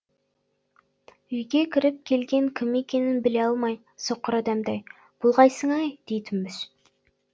үйге кіріп келген кім екенін біле алмай соқыр адамдай бұ қайсың ай дейтінбіз